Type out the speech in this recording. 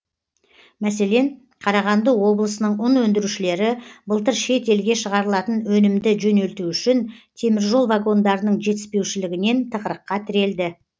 мәселен қарағанды облысының ұн өндірушілері былтыр шет елге шығарылатын өнімді жөнелту үшін теміржол вагондарының жетіспеушілігінен тығырыққа тірелді